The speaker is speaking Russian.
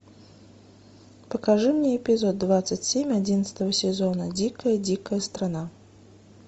покажи мне эпизод двадцать семь одиннадцатого сезона дикая дикая страна